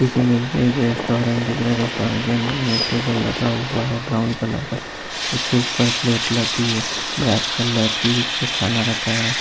इस मेज में एक रेस्टोरेंट दिख रहा है। रेस्टोरेंट के अंदर एक टेबल लगा हुआ है ब्राउन कलर का उसके उपर प्लेट लगी है ब्लैक कलर की उस पर खाना रखा है।